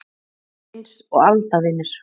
Þeir voru eins og aldavinir.